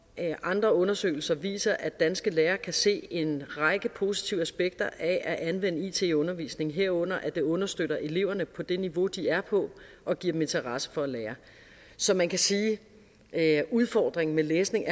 andre undersøgelser viser at danske lærere kan se en række positive aspekter af at anvende it i undervisningen herunder at det understøtter eleverne på det niveau de er på og giver dem interesse for at lære så man kan sige at udfordringen med læsning